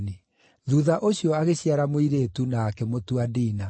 Thuutha ũcio agĩciara mũirĩtu na akĩmũtua Dina.